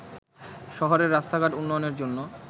শহরের রাস্তাঘাট উন্নয়নের জন্য